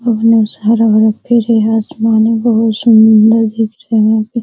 बहुत सारी मूर्ती हैंआसमान हैबहुत सूंदर दिख रहे है यहाँ पे --